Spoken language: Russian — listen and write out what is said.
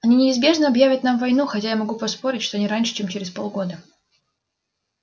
они неизбежно объявят нам войну хотя я могу поспорить что не раньше чем через полгода